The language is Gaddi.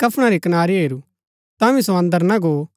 अतै टेकीकरी कफणा री कनारी हैरू तांभी सो अन्दर ना गो